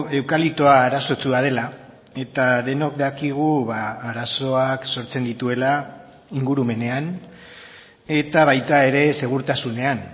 eukaliptoa arazotsua dela eta denok dakigu arazoak sortzen dituela ingurumenean eta baita ere segurtasunean